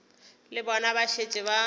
le bona ba šetše ba